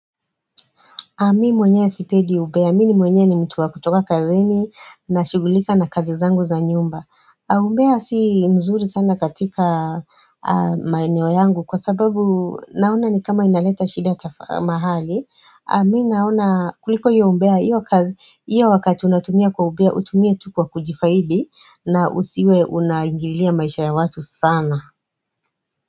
Mi mwenyewe sipedi ubea, mini mwenye ni mtu wa kutoka kazini na shugulika na kazi zangu za nyumba. Umbea si mzuri sana katika maeneo yangu kwa sababu naona ni kama inaleta shida mahali. Mi naona kuliko iyo umbea iyo kazi, iyo wakati unatumia kwa ubea utumie tu kwa kujifaidi na usiwe unaingilia maisha ya watu sana.